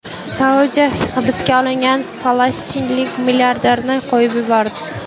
Saudiya hibsga olingan falastinlik milliarderni qo‘yib yubordi.